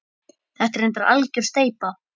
Þetta er reyndar algjör steypa.